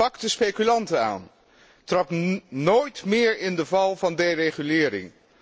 Pak de speculanten aan, trap nooit meer in de val van deregulering.